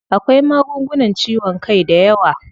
Akwai magungunan ciwon kai dayawa.